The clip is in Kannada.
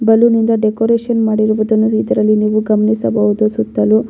ಬಲೂನ್ನಿಂದ ಡೆಕೋರೇಷನ್ ಮಾಡಿರುವುದನ್ನು ಇದರಲ್ಲಿ ನೀವು ಗಮನಿಸಬಹುದು ಸುತ್ತಲೂ --